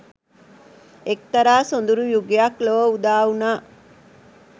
එක්තරා සොඳුරු යුගයක් ලොව උදාවුණා.